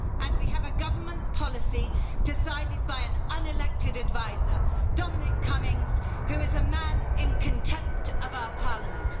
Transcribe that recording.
We have a government policy decided by an unelected advisor, Dominic Cummings, who is a man in contempt of our parliament.